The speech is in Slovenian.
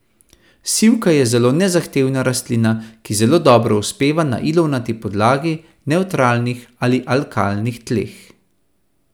Sivka je zelo nezahtevna rastlina, ki zelo dobro uspeva na ilovnati podlagi, nevtralnih ali alkalnih tleh.